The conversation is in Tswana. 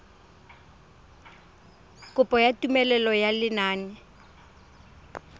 kopo ya tumelelo ya lenane